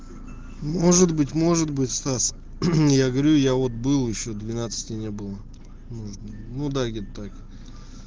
может быть может быть стас я говорю я вот был ещё двенадцати не было ну да где-то так